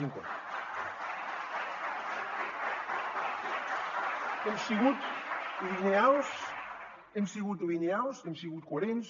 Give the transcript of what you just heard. hem sigut lineals hem sigut lineals hem sigut coherents